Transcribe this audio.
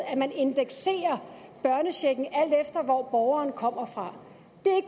at man indekserer børnechecken alt efter hvor borgeren kommer fra